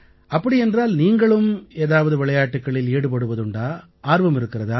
அப்படியென்றால் நீங்களும் ஏதாவது விளையாட்டுக்களில் ஈடுபடுவதுண்டா ஆர்வம் இருக்கிறதா